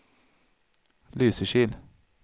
Lysekil